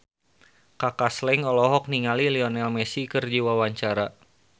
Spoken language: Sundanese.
Kaka Slank olohok ningali Lionel Messi keur diwawancara